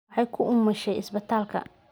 Waxay ku umushay isbitaalka.